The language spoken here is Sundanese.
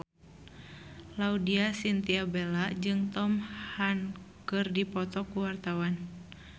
Laudya Chintya Bella jeung Tom Hanks keur dipoto ku wartawan